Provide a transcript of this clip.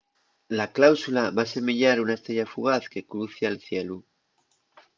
la cáusula va asemeyar una estrella fugaz que crucia’l cielu